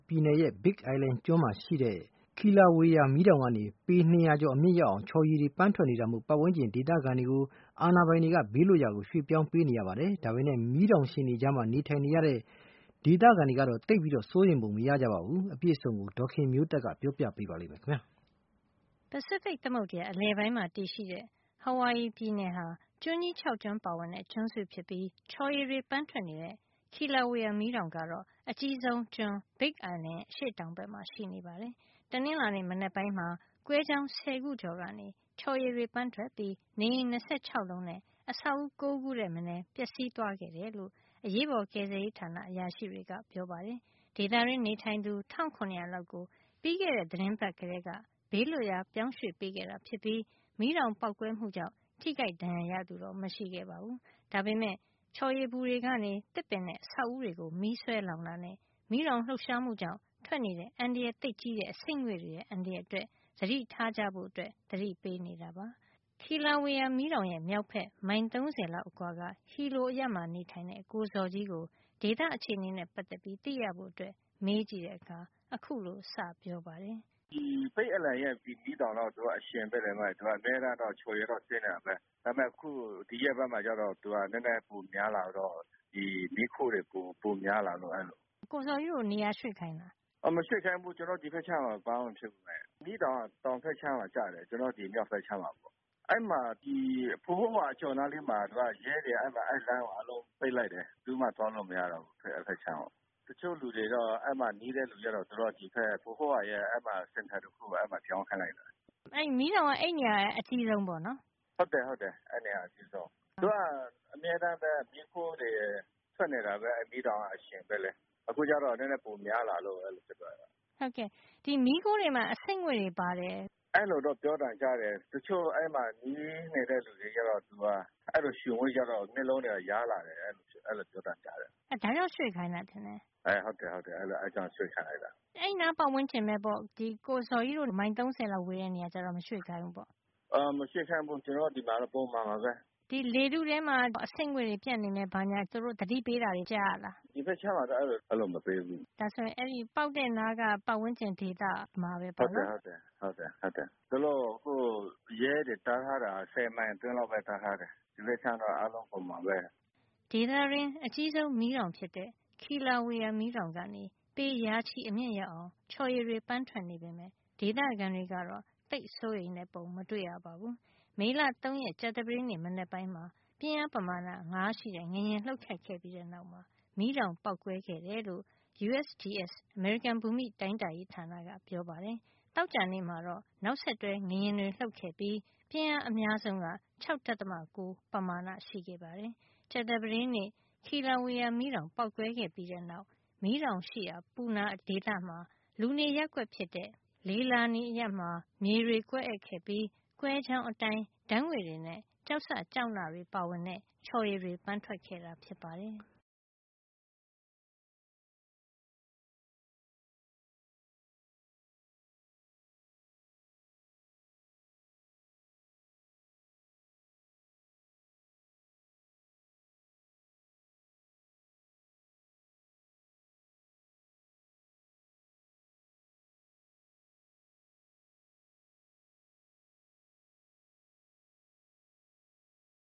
ပြည်နယ်ရဲ့ Big Island ကျွန်းကြီးမှာရှိတဲ့ Kilauea မီးတောင်ကနေ ပေ၂၀၀ ကျော် အမြင့်ရောက်အောင် ချော်ရည်တွေ ပန်းထွက်နေတာမို့ ဝန်းကျင်နေ ဒေသခံတွေကို အာဏာပိုင်တွေက ဘေးလွတ်ရာ ပြောင်းရွှေ့ပေးနေပါတယ်။ ဒါပေမယ့် မီးတောင်ရှင်တွေကြား နေထိုင်ကြတဲ့ ဒေသခံတွေကတော့ သိပ်စိုးရိမ်ပုံမရကြပါဘူး။ အပြည့်အစုံကို ဒေါ်ခင်မျိုးသက်က ပြောပြပေးမှာပါ။ ပစိဖိတ်သမုဒ္ဒရာ အလယ်ပိုင်းမှာတည်ရှိတဲ့ ဟာဝိုင်ယီပြည်နယ်ဟာ ကျွန်းကြီး ၆ ကျွန်းပါဝင်တဲ့ ကျွန်းစုဖြစ်ပြီး ချော်ရည်တွေ ပန်းထွက်နေတဲ့ Kilauea မီးတောင်ကတော့ အကြီးဆုံးကျွန်း Big Island ရဲ့ အရှေ့တောင်ဘက်မှာ ရှိနေပါတယ်။ တနင်္လာနေ့ မနက်ပိုင်းမှာ ကွဲကြောင်း ဆယ်ခုကျော်ကနေ ချော်ရည်တွေ ပန်းထွက်ပြီး နေအိမ် ၂၆ လုံးနဲ့ အဆောက်အဦး ၉ ခု ထက်မနဲ ပျက်စီးသွားခဲ့တယ်လို့ အရေးပေါ်ကယ်ဆယ်ရေးဌာန အရာရှိတွေက ပြောပါတယ်။ ဒေသတွင်းနေထိုင်သူ ၁၇၀၀ လောက်ကို ပြီးခဲ့တဲ သီတင်းပတ်ကတည်းက ဘေးလွတ်ရာ ပြောင်းရွေ့ပေးခဲ့တာ ဖြစ်ပြီး မီးတောင်ပေါက်ကွဲမှုကြောင့် ထိခိုက်ဒဏ်ရာရသူ မရှိပါဘူး။ ဒါပေမယ့် ချော်ရည်ပူတွေကနေ သစ်ပင်နဲ့ အဆောက်အဦးတွေကို မီးစွဲလောင်တာနဲ့ မီတောင်လှုပ်ရှားမှုကြောင့် ထွက်နေတဲ့ အန္တရာယ်သိပ်ကြီးတဲ့ အဆိပ်ငွေ့တွေရဲ့ အန္တရာယ်တွေကို သတိထားကြဖို့ သက်ဆိုင်ရာ တာဝန်ရှိသူတွေက သတိပေးနေပါတယ်။ Kilauea မီးတောင်ရဲ့ မြောက်ဖက် မိုင် ၃၀ လောက်အကွာက Hilo အရပ်မှာနေထိုင်တဲ့ ကိုဇော်ကြီးကို ဒေသအခြေနေနဲ့ ပတ်သက်ပြီးသိရဖို့ မေးကြည့်တဲ့အခါ ခုလိုစပြောပါတယ်။ ဒီKilauea မီးတောင်ကတော့ အရှင်ဖြစ်တယ်အမရေ၊ အမြဲတမ်းတော့ ချော်ရည်ကတော့ စီးနေတာပဲ ။ ဒါပေမယ် ့အခုဒီရက်ပိုင်းမှာတော့ သူကပိုများလာတော့ မီးခိုးတွေ ပိုများလာတယ်။ မေး။ ။ ကိုဇော်ကြီးတို့ကို နေရာရွေ့ခိုင်းလား။ ကိုဇော်ကြီး။ ။ မရွေ့ခိုင်းဘူး ဒီဘက်အခြမ်းမှာ ဘာမှမဖြစ်ဘူး မီးတောင်ကတော့ တောင်ဘက်ခြမ်းမှာကျတယ်။ ကျနော်တို့က မြောက်ဘက်အခြမ်းမှာ။ အကျော်နားမှာတော့ ရဲတွေ လမ်းတော့ပိတ်လိုက်တယ် ဘယ်သူမှ သွားလို့မရတော့ဘူး။ တချို့လူတွေတော့ အဲဒီမှာ နီးတဲ့လူတွေကတော့ အဲဒီမှာရှိတဲ့ center တခုမှာ ပြောင်းခိုင်းလိုက်တယ်။ မေး။ ။ အဲဒီနေရာက အကြီးဆုံးပေါ့နော်။ ကိုဇော်ကြီး။ ။ ဟုတ်တယ် အဲဒီနေရာကအကြီးဆုံး။ သူက အမြဲတမ်းပဲ မီးခိုးတွေထွက်နေတာပဲ အရှင်ဆိုတော့ အခုနည်းနည်းပိုများလာတော့ အဲလိုဖြစ်သွားတာ။ မေး။ ။ မီးခိုးတွေမှာ အဆိပ်ငွေ့တွေပါတယ်။ ကိုဇော်ကြီး။ ။ အဲလိုတော့ ပြောသံကြားတယ်။ တချို့အဲဒီမှာ နီးနေတဲ့လူတွေကတော့ အဲလိုရှုမိကြတော့ မျက်လုံးယားတာတွေဖြစ်တယ် အဲလိုတော့ ပြောသံကြားတယ်။ မေး။ ။ ဒါကြောင့်ရွှေ့ခိုင်းတာထင်တယ်။ ကိုဇော်ကြီး။ ။ ဟုတ်တယ်အဲဒါကြောင့်ရွှေ့ခိုင်းတာ။ မေး။ ။ အဲဒီနားပတ်ဝန်းကျင်ပဲပေါ့ ကိုဇော်ကြီးတို့ မိုင် ၃၀ မှာနေတဲ့လူတွေကိုရော ကိုဇော်ကြီး။ ။ မရွှေ့ခိုင်းဘူး ကျနော်တို့တော့ ပုံမှန်ပါပဲ။ မေး။ ။ လေထုထဲမှာ အဆိပ်ငွေ့တွေ ပျံ့နေမယ် သူတို့ သတိပေးတာတွေ ကြားရလား ကိုဇော်ကြီး။ ။ ဒီဘက်ခြမ်းမှာတော့ မပေးဘူး။ မေး။ ။ ဒါဆိုရင် ပေါက်တဲ့နားက ပတ်ဝန်းကျင်ဒေသမှာပဲပေါ့နော်။ ကိုဇော်ကြီး။ ။ ဟုတ်တယ် အခုရဲတွေတားထားတာကလည်း ၁၀ မိုင်အတွင်းလောက်ပဲ တားထားတယ် တခြားတော့ အားလုံးပုံမှန်ပါပဲ။ ဒေသတွင်း အကြီးဆုံးမီးတောင်ဖြစ်တဲ့ Kilauea မီးတောင်ကနေ ပေရာချီ အမြင့်ရောက်အောင် ချော်ရည်တွေ ပန်းထွက်နေပေမယ့် ဒေသခံတွေကတော့ သိပ်စိုးရိမ်တဲ့ ပုံမတွေ့ရပါဘူး။ မေလ ၃ ရက် ကြာသပတေး နေ့ မနက်ပိုင်းမှာ ပြင်းအား ပမာဏ ၅ ရှိတဲ့ ငလျင်လှုပ်ခတ်ခဲ့ပြီးတဲ့နောက် မီးတောင်ပေါက်ကွဲခဲ့တယ်လို့ USGS အမေရိကန် ဘူမိတိုင်းတာရေး ဌာနက ပြောပါတယ်။ သောကြာနေ့မှာတော့ နောက်ဆက်တွဲ ငလျင်တွေလှုပ်ခဲ့ပြီး ပြင်းအားအများဆုံးက ၆.၉ ပမာဏရှိခဲ့ပါတယ်။ ကြာသပတေးနေ့ Kilauea မီးတောင်ပေါက်ကွဲပြီးတဲ့နောက် မီးတောင်ရှိရာ Puna ဒေသမှာ လူနေရပ်ကွက် ဖြစ်တဲ့ Leilani အရပ်မှာ မြေတွေ ကွဲအက်ခဲ့ပြီး ကွဲကြောင်းအတိုင်း ဓါတ်ငွေ့တွေနဲ့ ကျောက်စကျောက်နတွေ ပါဝင်တဲ့ ချော်ရည်တွေ ပန်းထွက်ခဲ့တာ ဖြစ်ပါတယ်။